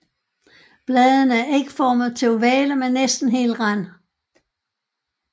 Bladene er ægformede til ovale med næsten hel rand